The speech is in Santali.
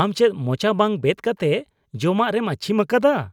ᱟᱢ ᱪᱮᱫ ᱢᱚᱪᱟ ᱵᱟᱝ ᱵᱮᱫ ᱠᱟᱛᱮ ᱡᱚᱢᱼᱟᱜ ᱨᱮᱢ ᱟᱪᱪᱷᱤᱢ ᱟᱠᱟᱫᱟ ?